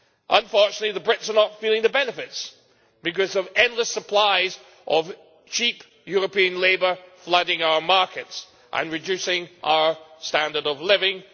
Unfortunately, the Brits are not feeling the benefits, because of endless supplies of cheap European labour flooding our markets and reducing our standard of living.